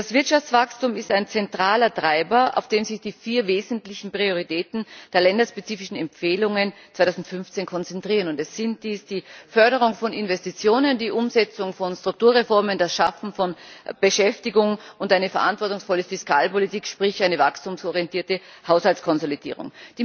Das Wirtschaftswachstum ist ein zentraler Treiber, auf den sich die vier wesentlichen Prioritäten der länderspezifischen Empfehlungen 2015 konzentrieren. Es sind dies die Förderung von Investitionen, die Umsetzung von Strukturreformen, das Schaffen von Beschäftigung und eine verantwortungsvolle Fiskalpolitik sprich eine wachstumsorientierte Haushaltskonsolidierung.